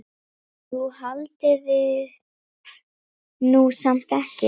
Jú, haldiði nú samt ekki.